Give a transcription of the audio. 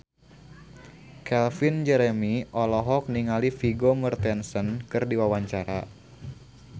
Calvin Jeremy olohok ningali Vigo Mortensen keur diwawancara